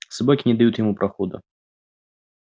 собаки не дают ему прохода